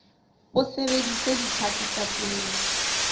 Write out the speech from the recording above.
o sebedise ditlhaku tsa pele